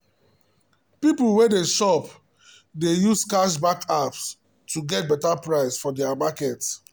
people wey dey shop dey use cashback apps to get better price for market.